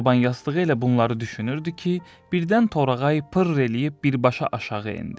Çoban yastığı elə bunları düşünürdü ki, birdən Torağay pır eləyib birbaşa aşağı endi.